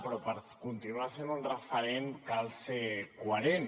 però per continuar sent un referent cal ser coherent